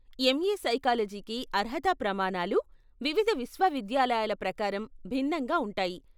MA సైకాలజీకి అర్హత ప్రమాణాలు వివిధ విశ్వవిద్యాలయాల ప్రకారం భిన్నంగా ఉంటాయి.